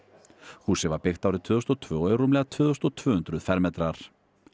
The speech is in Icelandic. húsið var byggt árið tvö þúsund og tvö og er rúmlega tvö þúsund tvö hundruð fermetrar